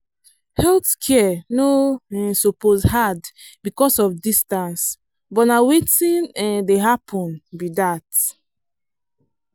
health care no um suppose hard because of distance but na wetin um dey happen be that.